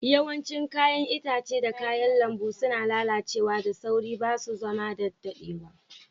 Yawancin yayan itatuwa da kayan lambu suna lallace da sauri. Ba su zauna da dadewa.